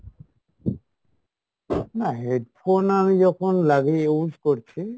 না, headphone আমি যখন লাগিয়ে use করছি